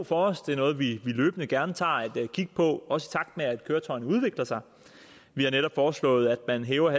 for os det er noget vi løbende gerne tager et kig på også i takt med at køretøjerne udvikler sig vi har netop foreslået at man hæver